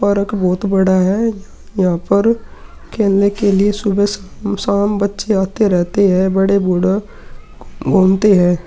Park बोहोत बड़ा है। यहाँ पर खेलने के लिए सुबह शाम बच्चे आते रहते हैं। बड़े बूढ़े घूमते है।